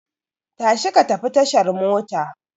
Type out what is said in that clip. Tashi ka tafi tashar mota!